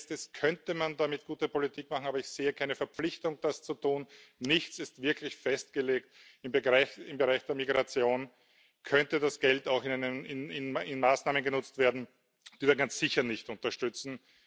So, wie es jetzt ist, könnte man damit gute Politik machen. Aber ich sehe keine Verpflichtung, das zu tun. Nichts ist wirklich festgelegt. Im Bereich der Migration könnte das Geld auch in Maßnahmen genutzt werden, die wir ganz sicher nicht unterstützen.